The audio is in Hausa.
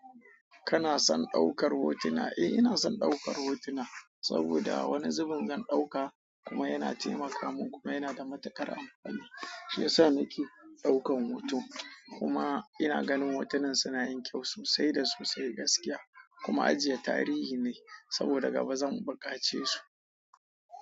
Kana son ɗaukar hotuna? Eh, ina son ɗaukar hotuna saboda wani zubin zan ɗauka kuma yana taimaka mun kuma yana da matuƙar amfani. Shi yasa nake ɗaukan hoto. Kuma ina ganin hotunan suna yin kyau sosai da sosai, gaskiya. Kuma ajiye tarihi ne saboda gaba zan bukace su.